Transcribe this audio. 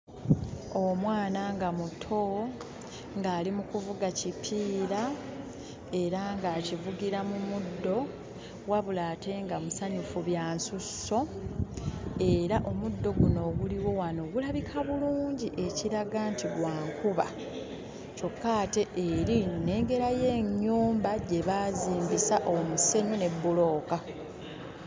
Omwana nga muto ng'ali mu kuvuga kipiira era ng'akivugira mu muddo wabula ate nga musanyufu bya nsusso era omuddo guno oguliwo wano gulabika bulungi ekiraga nti gwa nkuba. Kyokka ate eri nnengerayo ennyumba gye baazimbisa omusenyu ne bbulooka.